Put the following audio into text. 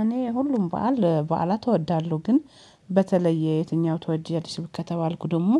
እኔ ሁሉም በዓል ኧ በዓላት እወዳለሁ። ግን በተለይ የትኛው ትወጃለሽ ከተባልኩ ደሞ